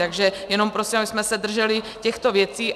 Takže jenom prosím, abychom se drželi těchto věcí.